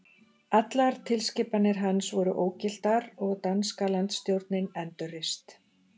Allar tilskipanir hans voru ógiltar og danska landsstjórnin endurreist.